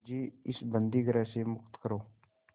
मुझे इस बंदीगृह से मुक्त करो